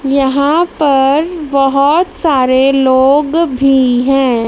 यहां पर बहोत सारे लोग भी हैं।